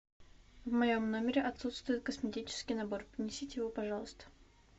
в моем номере отсутствует косметический набор принесите его пожалуйста